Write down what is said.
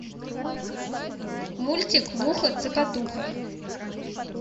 мультик муха цокотуха